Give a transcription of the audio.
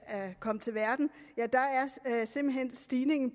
kommet til verden er stigningen